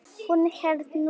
Hún hélt nú það.